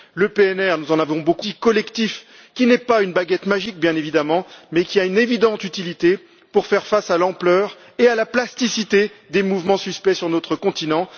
Le PNR, nous en avons beaucoup parlé, est un outil collectif qui n'est pas une baguette magique, bien évidemment, mais qui a une évidente utilité pour faire face à l'ampleur et à la plasticité des mouvements suspects sur notre continent.